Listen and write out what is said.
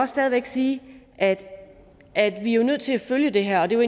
stadig væk sige at at vi jo er nødt til at følge det her det var